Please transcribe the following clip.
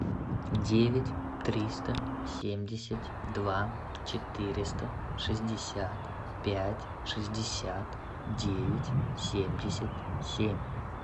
девять триста семьдесят два четыреста шестьдесят пять шестьдесят девять семьдесят семь